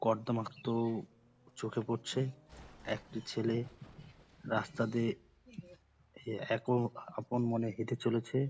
কর্দমাক্ত চোখে পড়ছে। একটি ছেলে রাস্তা দিয়ে এক ও আপন মনে হেঁটে চলেছে।